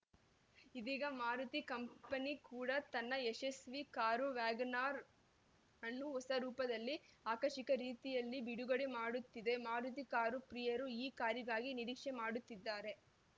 ಇದೀಗ ಮಾರುತಿ ಕಂಪನಿ ಕೂಡ ತನ್ನ ಯಶಸ್ವೀ ಕಾರು ವ್ಯಾಗನ್‌ ಆರ್‌ ಅನ್ನು ಹೊಸ ರೂಪದಲ್ಲಿ ಆಕರ್ಷಕ ರೀತಿಯಲ್ಲಿ ಬಿಡುಗಡೆ ಮಾಡುತ್ತಿದೆ ಮಾರುತಿ ಕಾರು ಪ್ರಿಯರು ಈ ಕಾರಿಗಾಗಿ ನಿರೀಕ್ಷೆ ಮಾಡುತ್ತಿದ್ದಾರೆ